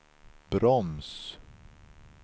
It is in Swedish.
broms